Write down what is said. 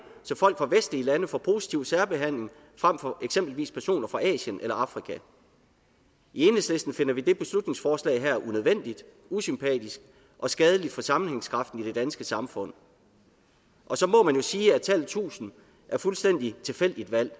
så folk fra vestlige lande får positiv særbehandling frem for eksempelvis personer fra asien eller afrika i enhedslisten finder vi det beslutningsforslag her unødvendigt usympatisk og skadeligt for sammenhængskraften i det danske samfund og så må man jo sige at tallet tusind er fuldstændig tilfældigt valgt